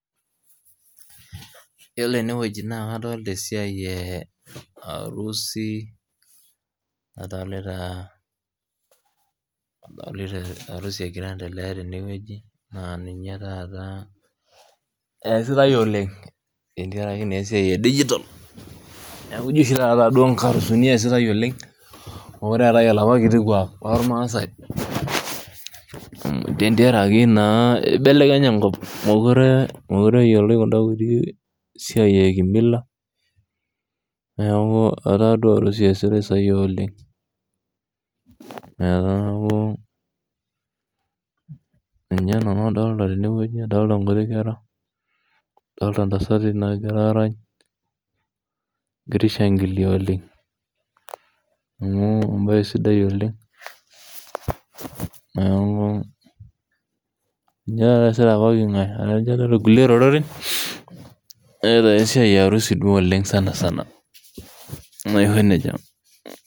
Yiolo enewueji na kadolta esiai e arusi, adolita arusi egira aendelea tenewueji naa ninye taata eesitai oleng, tenteraki naa esiai edijitol. Neeku jo oshi taata nkarusini eesitai oleng, mekure eetae olapa kiti kuak lormasai, tenteraki naa ibelekenye enkop. Mokure eyioloi kunda kuti siai e kimila, neeku etaa duo arusi eesitai sai oleng. Neeku, ninye nanu adolta tenewueji adolta nkuti kera, adolta ntasati nagira arany, egira aishankilia oleng. Amu ebae sidai oleng, neeku ninye taata eesita pooking'ae, atejo kulie oreren, neeta ake esiai e arusi duo oleng sanasana. Naa aiko nejia.